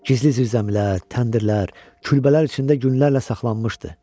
Gizli zirzəmilər, təndirlər, külbələr içində günlərlə saxlanmışdı.